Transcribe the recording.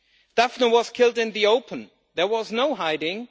Daphne was killed in the open, there was no hiding.